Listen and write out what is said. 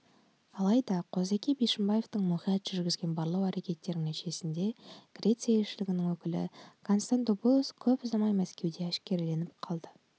алайда қозыке бишімбаевтың мұқият жүргізген барлау әрекеттерінің нәтижесінде греция елшілігінің өкілі констандопулос көп ұзамай мәскеуде әшкереленіп қалды